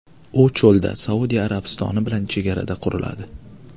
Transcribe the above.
U cho‘lda, Saudiya Arabistoni bilan chegarada quriladi.